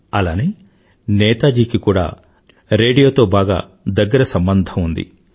అలానే నేతాజీ కి కూడా రేడియోతో బాగా దగ్గర సంబంధం ఉంది